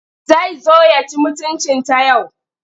Zai zo ya ci mutuncinta yau.